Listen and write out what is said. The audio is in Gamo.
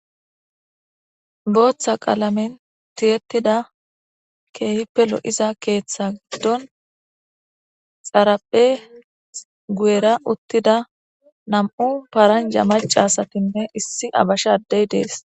Booththa qalamen tiyetida keehippe lo7iza keeththa giddon xarpheza goyera utida nam7u paranja macca asatinne issi abasha ade de7es